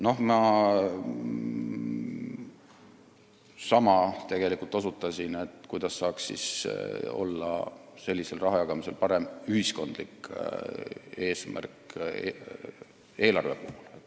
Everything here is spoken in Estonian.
Ma osutasin samale asjale, et kuidas saaks sellisel rahajagamisel olla parem ühiskondlik eesmärk eelarve puhul.